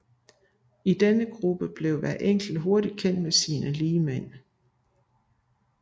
I denne gruppe blev hver enkelt hurtig kendt med sine ligemænd